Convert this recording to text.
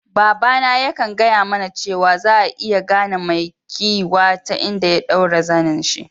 Baba na ya kan gaya mana cewa, za'a iya gane mai kiwiya ta inda ya daura zenin'shi.